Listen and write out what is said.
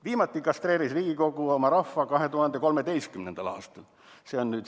Viimati kastreeris Riigikogu oma rahva 2013. aastal.